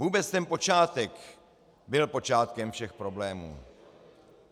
Vůbec ten počátek byl počátkem všech problémů.